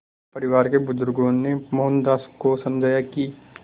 परिवार के बुज़ुर्गों ने मोहनदास को समझाया कि